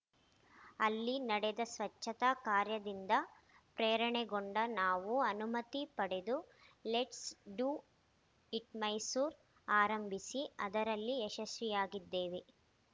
ಅಲ್ಲಿ ನಡೆದ ಸ್ವಚ್ಛತಾ ಕಾರ್ಯದಿಂದ ಪ್ರೇರಣೆಗೊಂಡು ನಾವು ಅನುಮತಿ ಪಡೆದು ಲೆಟ್ಸ್‌ ಡು ಇಟ್‌ ಮೈಸೂರು ಆರಂಭಿಸಿ ಅದರಲ್ಲಿ ಯಶಸ್ವಿಯಾಗಿದ್ದೇವೆ